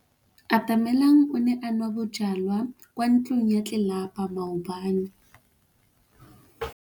Atamelang o ne a nwa bojwala kwa ntlong ya tlelapa maobane.